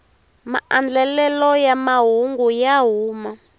maandlelelo ya mahungu ya huma